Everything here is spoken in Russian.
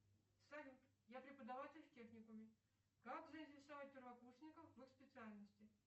салют я преподаватель в техникуме как заинтересовать первокурсников в их специальности